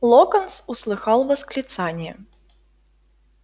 локонс услыхал восклицание